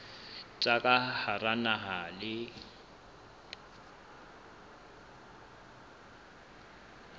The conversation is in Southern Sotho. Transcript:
tsa ka hara naha le